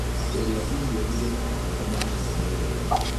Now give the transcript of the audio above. Kũrĩa irio ĩrĩ na magũta manĩnĩ nĩ wega